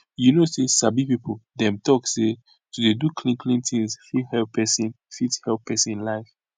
you know say sabi people dem talk say to dey do clean clean things fit help pesin fit help pesin life